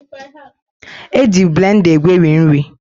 The blender na-eji maka egweri nri stuffs